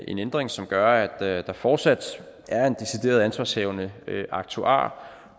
en ændring som gør at der fortsat er en decideret ansvarshavende aktuar